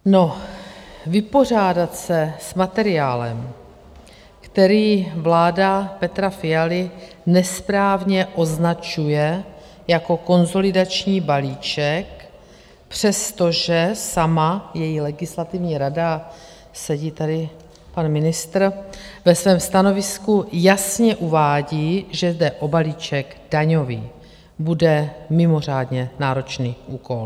Vypořádat se s materiálem, který vláda Petra Fialy nesprávně označuje jako konsolidační balíček, přestože sama, její legislativní rada, sedí tady pan ministr, ve svém stanovisku jasně uvádí, že jde o balíček daňový, bude mimořádně náročný úkol.